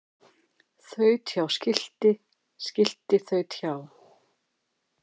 Þaut hjá skilti skilti þaut hjá